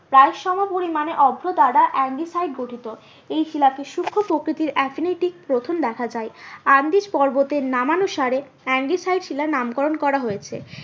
প্রায় সময় পরিমানে অভ্র দ্বারা গঠিত। এই শিলাকে সুক্ষ প্রকৃতির গ্রথন দেখা যায়। আন্দিজ পর্বতের নাম অনুসারে শিলার নাম করুন করা হয়েছে।